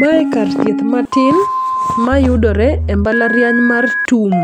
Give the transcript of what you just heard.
Mae kar thieth matin mayudore e mbalariany mar TUM